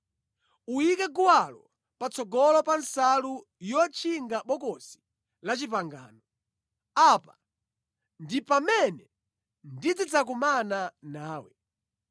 Uyike guwalo patsogolo pa nsalu yotchinga Bokosi la Chipangano. Apa ndi pamene ndizidzakumana nawe.